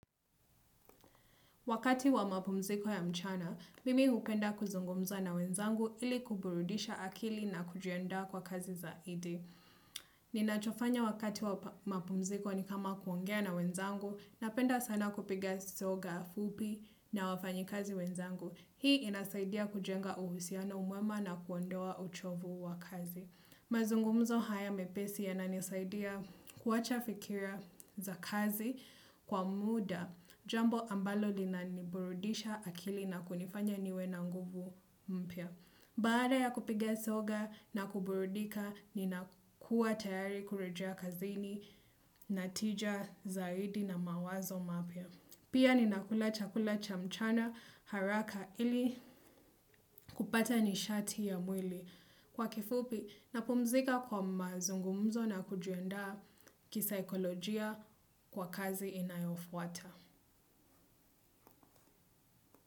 Wakati wa mapumziko ya mchana, mimi upenda kuzungumza na wenzangu ili kuburudisha akili na kujienda kwa kazi zaidi. Ninachofanya wakati wa mapumziko ni kama kuongea na wenzangu napenda sana kupiga soga fupi na wafanyi kazi wenzangu. Hii inazaidia kujenga uhusiana mwema na kuwandoa uchovu wa kazi. Mazungumzo haya mepesi ya na nisaidia kuwacha fikira za kazi kwa muda, jambo ambalo lina niburudisha akili na kunifanya niwe na nguvu mpya. Baada ya kupige soga na kuburudika, ninakuwa tayari kurejea kazini, natija zaidi na mawazo mapya. Pia ninakula chakula cha mchana haraka ili kupata nishati ya mwili. Kwa kifupi napumzika kwa mazungumuzo na kujiandaa kisaekolojia kwa kazi inayofuata.